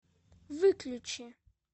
выключи